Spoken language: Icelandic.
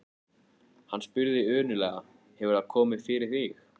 Hann spurði önuglega: Hefur það komið fyrir þig?